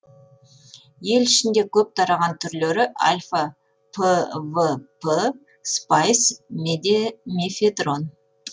ел ішінде көп тараған түрлері альфа пвп спайс мефедрон